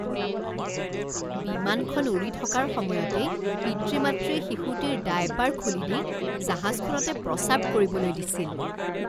বিমানখন উৰি থকাৰ সময়তেই পিতৃ মাতৃয়ে শিশুটিৰ ডায়েপাৰ খুলি দি জাহাজখনতে প্ৰস্ৰাৱ কৰিবলৈ দিছিল